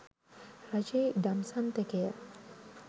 රජයේ ඉඩම් සන්තකය